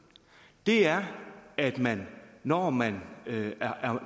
er at man når man